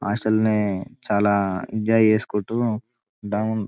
అసలు నే చాలా ఎంజాయ్ చేసుకుంటూ డౌన్ --